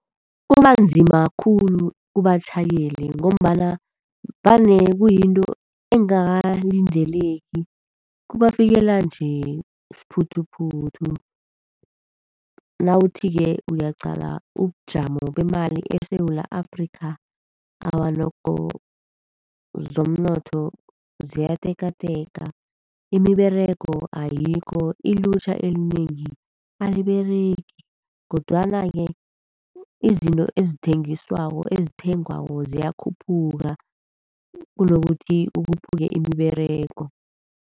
Kubanzima khulu kubatjhayeli ngombana vane kuyinto engakalindeleki, kubafikela nje siphuthuphuthu. Nawuthi-ke uyaqala ubujamo bemali eSewula Afrika, awa nokho zomnotho ziyatekateka. Imiberego ayikho, ilutjha elinengi aliberegi kodwana-ke izinto ezithengiswako, ezithengwako ziyakhuphuka kunokuthi kukhuphuke imiberego.